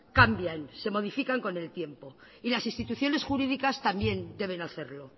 cambian se modifican con el tiempo y las instituciones jurídicas también deben hacerlo